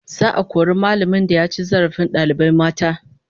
Za'a kori mallamin da ya ci zarafin dalibai mata